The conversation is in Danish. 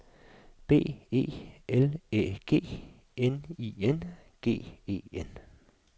B E L Æ G N I N G E N